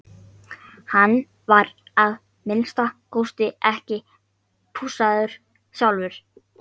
Hann var að minnsta kosti ekki pússaður sjálfur.